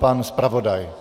Pan zpravodaj.